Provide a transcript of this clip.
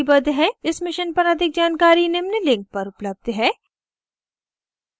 इस mission पर अधिक जानकारी निम्न लिंक पर उपलब्ध है